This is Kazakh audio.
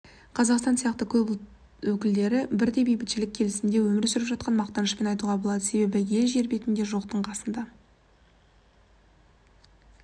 қазақстанда сияқты көп ұлт өкілдері бірдей бейбітшілік пен келісімде өмір сүріп жатқанын мақтанышпен айтуға болады себебі ел жер бетінде жоқтың қасында